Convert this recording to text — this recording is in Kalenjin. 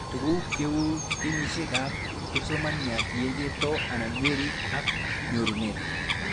Tug'uk cheuu kenyishek ab kipsomaniat, ye chepto anan werit ak nyorunet